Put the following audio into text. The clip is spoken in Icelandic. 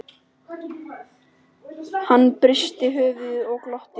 Hann hristi höfuðið og glotti.